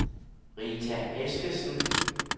Rita Eskesen